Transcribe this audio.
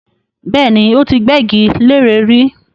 Bẹ́ẹ̀ni, ó ti gbẹ́gi leré rí